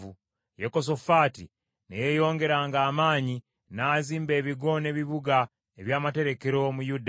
Yekosafaati ne yeeyongeranga amaanyi, n’azimba ebigo n’ebibuga eby’amaterekero mu Yuda,